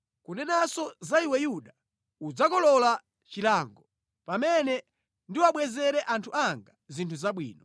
“Kunenanso za iwe Yuda, udzakolola chilango. “Pamene ndiwabwezere anthu anga zinthu zabwino.”